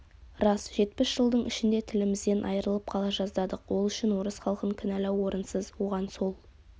рас жетпіс жылдың ішінде тілімізден айырылып қала жаздадық ол үшін орыс халқын кінәлау орынсыз оған сол